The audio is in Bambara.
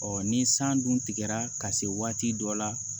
ni san dun tigɛra ka se waati dɔ la